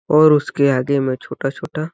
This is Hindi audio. और उसके आगे में छोटा-छोटा--